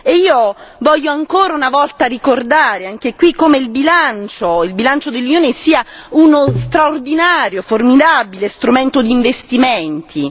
Io voglio ancora una volta ricordare anche qui come il bilancio dell'Unione sia uno straordinario, formidabile strumento di investimenti.